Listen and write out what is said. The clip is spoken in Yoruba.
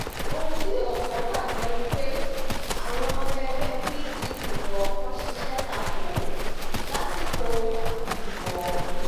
ohun tí ọ̀pọ̀ gbàgbọ́ ni pé àwọn ọmọ ẹgbẹ́ pdp kọ̀ọ̀kan ṣiṣẹ́ ta kò ó lásìkò ìdìbò ọ̀hún